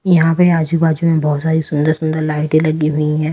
यहां पे आजू-बाजू में बहुत सारी सुंदर- सुंदर लाइटें लगी हुई है।